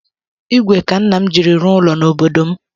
Igwe ka nna m jiri rụọ ụlọ n’obodo m